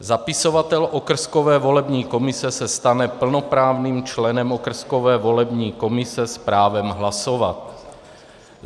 Zapisovatel okrskové volební komise se stane plnoprávným členem okrskové volební komise s právem hlasovat.